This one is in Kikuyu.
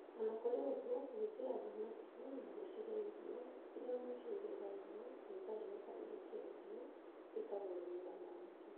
O na kũrĩ ũguo, kũhingĩra thamaki na gũcihe irio, iria mũico igethagwo na ikarĩo kana ikendio, wĩtagwo ũrĩmi wa thamaki.